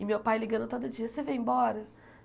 E meu pai ligando todo dia, você vem embora?